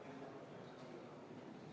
V a h e a e g